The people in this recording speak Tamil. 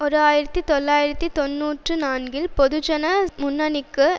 ஓர் ஆயிரத்தி தொள்ளாயிரத்து தொன்னூற்றி நான்கில் பொதுஜன முன்னணிக்கு